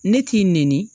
Ne k'i neni